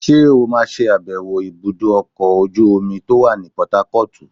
ṣe o ma sé abèwo ibudọ ọkọ ojú-omi to wan ní portharcortú?